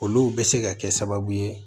Olu bɛ se ka kɛ sababu ye